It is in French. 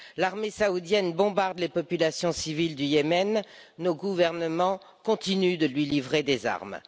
L'armée saoudienne bombarde les populations civiles du Yémen, nos gouvernements continuent de lui livrer des armes.